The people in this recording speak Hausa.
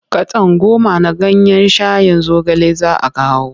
Katon goma na ganyen shayin zogale za kawo.